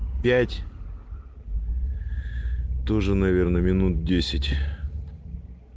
пять тоже наверное минут десять